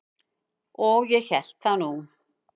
Og ég hélt það nú.